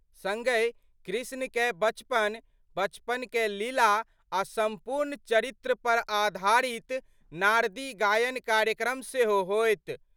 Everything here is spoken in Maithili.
संगहि कृष्ण कए बचपन, बचपन कए लीला आ सम्पूर्ण चरित्र पर आधारित नारदी गायन कार्यक्रम सेहो होयत।